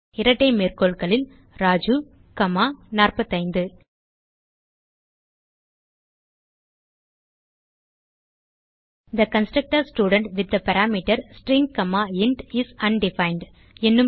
இரட்டை மேற்கோள்களில்Raju comma 45 the constructor student with the parameter string comma int is undefined